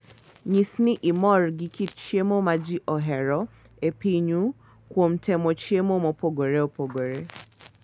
Nyis ni imor gi kit chiemo ma ji ohero e pinyu kuom temo chiemo mopogore opogore.